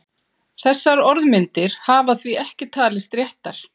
Þessar orðmyndir hafa því ekki talist réttar.